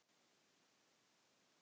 Nú skulum við plotta.